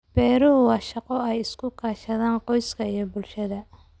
Beeruhu waa shaqo ay iska kaashadaan qoyska iyo bulshada.